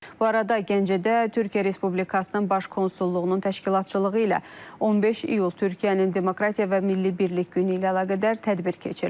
Bu arada Gəncədə Türkiyə Respublikasının baş konsulluğunun təşkilatçılığı ilə 15 İyul Türkiyənin Demokratiya və Milli Birlik Günü ilə əlaqədar tədbir keçirilib.